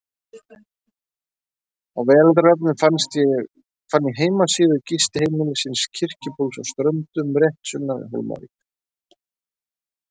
Á veraldarvefnum fann ég heimasíðu gistiheimilisins Kirkjubóls á Ströndum, rétt sunnan við Hólmavík.